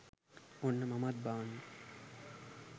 ඔන්න මමත් බාන්න